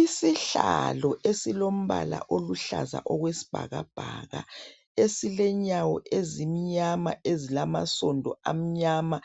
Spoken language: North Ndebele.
Isihlalo esilombala oluhlaza okwesibhakabhaka esilenyawo ezimnyama ezilamasondo amnyama